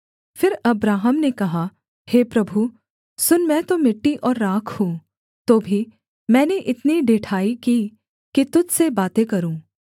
फिर अब्राहम ने कहा हे प्रभु सुन मैं तो मिट्टी और राख हूँ तो भी मैंने इतनी ढिठाई की कि तुझ से बातें करूँ